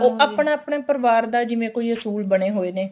ਉਹ ਆਪਣਾ ਆਪਣਾ ਪਰਿਵਾਰ ਦਾ ਜਿਵੇਂ ਕੋਈ ਅਸੂਲ ਬਣੇ ਹੋਏ ਨੇ